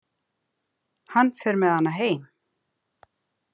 Hann fer með hana heim.